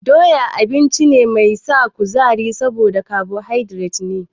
Doya abinci ne mai sa kuzari saboda kabohaidret ne.